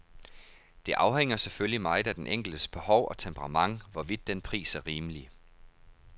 Det afhænger selvfølgelig meget af den enkeltes behov og temperament, hvorvidt den pris er rimelig.